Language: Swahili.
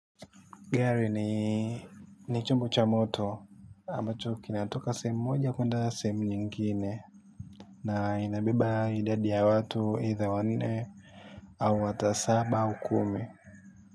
Gary ni chumbu cha moto ambacho kina toka sehemu moja kuenda sehemu nyingine. Na inabeba idadi ya watu eidha wanne au hata saba au kumi.